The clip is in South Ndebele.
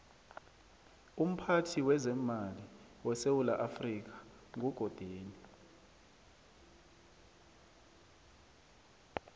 umphathi wezemali wesewula africa nqugodeni